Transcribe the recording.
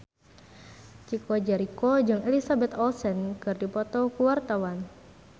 Chico Jericho jeung Elizabeth Olsen keur dipoto ku wartawan